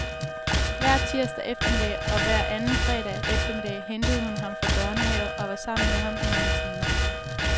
Hver tirsdag eftermiddag og hver anden fredag eftermiddag hentede hun ham fra børnehave og var sammen med ham i nogle timer.